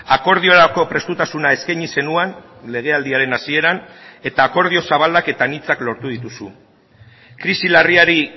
akordiorako prestutasuna eskaini zenuen legealdiaren hasieran eta akordio zabalak eta anitzak lortu dituzu krisi larriari